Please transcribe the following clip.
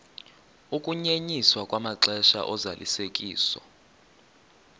ukunyenyiswa kwamaxesha ozalisekiso